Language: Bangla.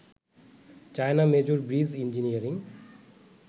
China major bridge engineering